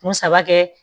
Kun saba kɛ